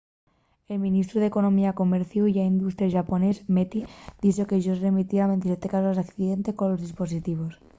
el ministru d'economía comerciu ya industria xaponés meti dixo que-yos remitieran 27 casos d'accidente colos dispositivos